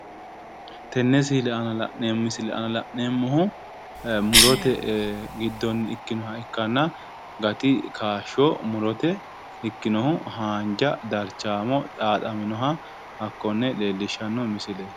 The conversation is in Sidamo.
Tenne misile aanna la'neemmohu murote giddonni ikkinoha ikkanna gati kaashsho murote ikkinohu haanja darchaamo xaaxaminoha hakkonne leellishshanno misileeti.